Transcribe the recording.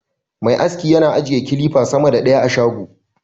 Me aski yana ajiye kilifa sama da ɗaya a shago